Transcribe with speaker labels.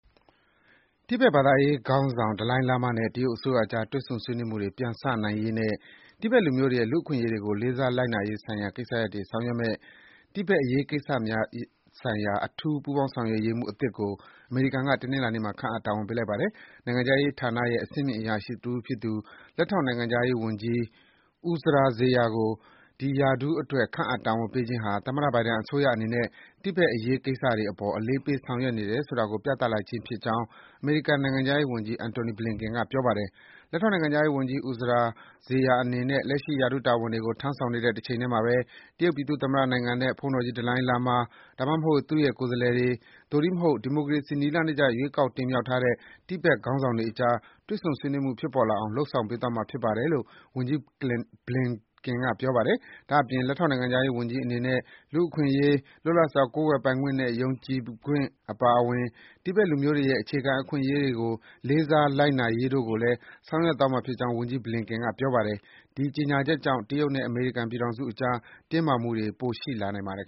Speaker 1: တိဘက် ဘာသာရေးခေါင်းဆောင် ဒလိုင်းလားမားနဲ့ တရုတ်အစိုးရအကြား တွေ့ဆုံ ဆွေးနွေးမှုတွေ ပြန်စနိုင်ရေးနဲ့ တိဘက်လူမျိုးတွေရဲ့ လူ့အခွင့်အရေးတွေကို လေးစားလိုက်နာရေးဆိုင်ရာ ကိစ္စရပ်တွေကို ဆောင်ရွက်မယ့် “တိဘက်အရေးကိစ္စများဆိုင်ရာ အထူး ပူးပေါင်းဆောင်ရွက်ရေးမှူး” အသစ်ကို အမေရိကန်က တနင်္လာနေ့မှာ ခန့်အပ် တာဝန်ပေးလိုက်ပါတယ်။ နိုင်ငံခြားရေးဌာနရဲ့ အဆင့်မြင့် အရာရှိတဦးဖြစ်သူ -လက်ထောက်နိုင်ငံခြားရေးဝန်ကြီး Uzra Zeya ကို ဒီရာထူးအတွက် ခန့်အပ် တာဝန်ပေးအပ်ခြင်းဟာ သမ္မတ ဘိုင်ဒန်အစိုးရအနေနဲ့ တိဘက်အရေးကိစ္စတွေအပေါ် အလေးပေး ဆောင်ရွက်နေတယ်ဆိုတာကို ပြသလိုက်ခြင်းဖြစ်ကြောင်း အမေရိကန်နိုင်ငံခြားရေးဝန်ကြီး Antony Blinken က ပြောပါတယ်။ “လက်ထောက်နိုင်ငံခြားရေးဝန်ကြီး Uzra Zeya အနေနဲ့ လက်ရှိ ရာထူးတာဝန်တွေကို ထမ်းဆောင်နေတဲ့ တချိန်တည်းမှာပဲ တရုတ်ပြည်သူ့သမ္မတနိုင်ငံနဲ့ ဘုန်းတော်ကြီး ဒလိုင်းလားမား၊ ဒါမှမဟုတ် သူ့ရဲ့ကိုယ်စားလှယ်တွေ၊ သို့တည်းမဟုတ် ဒီမိုကရေစီ နည်းလမ်းတကျ ရွေးကောက် တင်မြှောက်ထားတဲ့ တိဘက်ခေါင်းဆောင်တွေအကြား တွေ့ဆုံဆွေးနွေးမှု ဖြစ်ပေါ်လာအောင် လုပ်ဆောင်ပေးသွားမှာ ဖြစ်ပါတယ်” လို့ ဝန်ကြီး Blinken က ပြောပါတယ်။ ဒါ့အပြင် လက်ထောက်နိုင်ငံခြားရေးဝန်ကြီးအနေနဲ့ လူ့အခွင့်အရေး၊ လွတ်လပ်စွာ ကိုးကွယ်ပိုင်ခွင့်နဲ့ ယုံကြည်ပိုင်ခွင့် အပါအဝင် တိဘက်လူမျိုးတွေရဲ့ အခြေခံ အခွင့်အရေးတွေကို လေးစားလိုက်နာရေးတို့ကိုလည်း ဆောင်ရွက်သွားမှာဖြစ်ကြောင်း ဝန်ကြီး Blinken က ပြောပါတယ်။ ဒီကြေညာချက်ကြောင့် တရုတ်နဲ့ အမေရိကန်ပြည်ထောင်စုအကြား တင်းမာမှုတွေ ပိုရှိလာန
Speaker 2: ိုင်ပါတယ်